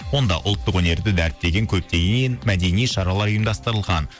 онда ұлттық өнерді дәріптеген көптеген мәдени шаралар ұйымдастырылған